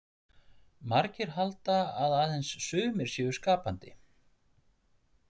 Margir halda að aðeins sumir séu skapandi.